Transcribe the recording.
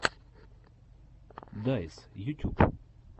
дайс ютюб